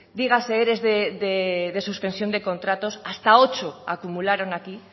dígase ere de suspensión de contratos hasta ocho acumularon aquí